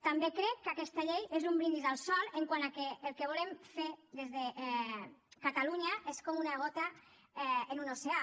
també crec que aquesta llei és un brindis al sol quant al fet que el que volem fer des de catalunya és com una gota en un oceà